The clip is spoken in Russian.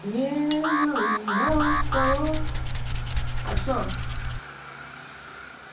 мне малым мало спалось а что